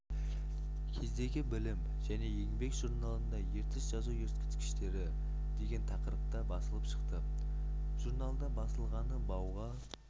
кездегі білім және еңбек журналында ертіс жазу ескерткіштері деген тақырыпта басылып шықты журналда басылғаны бауға